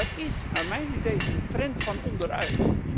Dat is naar mijn idee een trend van onderuit.